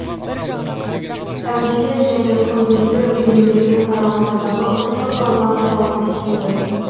әулие және құндызды өзендерінің аралығындағы оқшауланған тау массиві